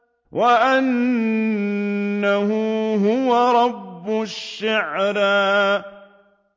وَأَنَّهُ هُوَ رَبُّ الشِّعْرَىٰ